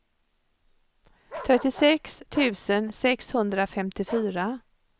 trettiosex tusen sexhundrafemtiofyra